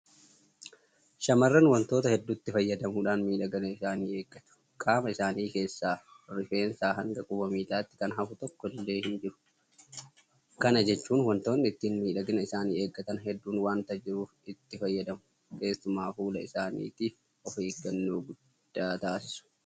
Shaamarran waantota hedduutti fayyadamuudhaan miidhagina isaanii eeggatu. Qaama isaanii keessaa Rifeensaa hanga quba miilaatti kan hafu tokko iyyuu hinjiru. Kana jechuun waantonni ittiin miidhagina isaanii eeggatan hedduun waanta jiruuf itti fayyadamu. Keessumaa fuula isaaniitiif ofeeggannoo guddaa taasisu.